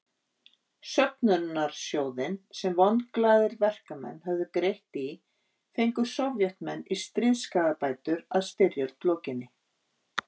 Söfnunarsjóðinn sem vonglaðir verkamenn höfðu greitt í fengu Sovétmenn í stríðsskaðabætur að styrjöld lokinni.